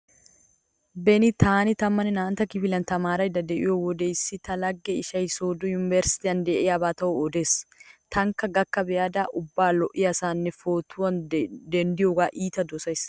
Beni taani tammanne naa"antta kifiliyan tamaaraydda diyo wode issi ta laggiya ishay sooddo yumbberesttiyan diyaba tawu odees. Taanikka gakka be'ada ubba lo'iyasan pootuwa denddiyogaa iita dosays.